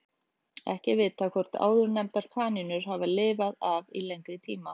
Ekki er vitað hvort áðurnefndar kanínur hafi lifað af í lengri tíma.